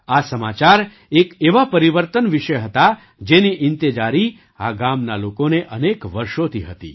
આ સમાચાર એક એવા પરિવર્તન વિશે હતા જેની ઈંતેજારી આ ગામના લોકોને અનેક વર્ષોથી હતી